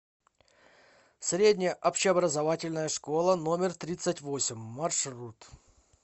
средняя общеобразовательная школа номер тридцать восемь маршрут